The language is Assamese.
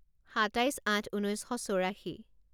সাতাইছ আঠ ঊনৈছ শ চৌৰাশী